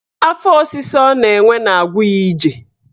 Afọ ọsịsa ọ na-enwe na-agwu ya ije